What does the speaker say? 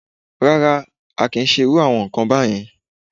Rárá a kìí Ṣé irú àwọn nkan báyìí.